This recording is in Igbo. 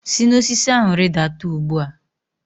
Si n'osisi ahụ rịdata ugbu a!